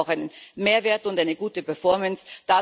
Wir brauchen auch einen Mehrwert und eine gute Performance.